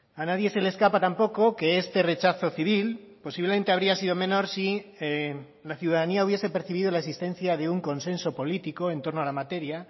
a nadie se le escapa tampoco que este rechazo civil posiblemente habría sido menor si la ciudadanía hubiese percibido la existencia de un consenso político en torno a la materia